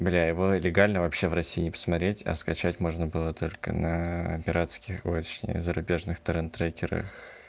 бля его легально вообще в россии не посмотреть а скачать можно было только на пиратских очень зарубежных торрент-трекерах